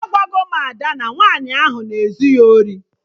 Agwago m Ada na nwaanyị ahụ na ezu ya ori